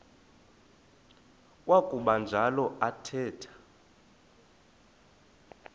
kwakuba njalo athetha